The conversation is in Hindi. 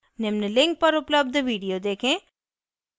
निम्न link पर उपलब्ध video देखें